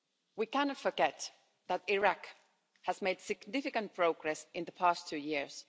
We cannot forget that Iraq has made significant progress in the past two years.